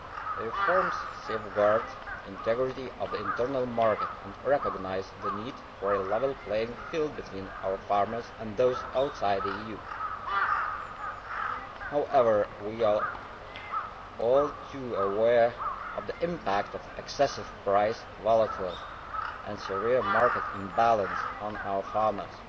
The reforms safeguard the integrity of the internal market and recognise the need for a level playing field between our farmers and those outside the EU. However, we are all too aware of the impact of excessive price volatility and the severe market imbalance on our farmers.